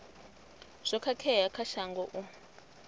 zwo khakhea kha shango u